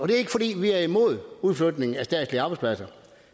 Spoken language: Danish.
det er ikke fordi vi er imod udflytning af statslige arbejdspladser